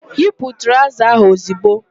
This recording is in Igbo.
Yipu traụza ahụ ozigbo!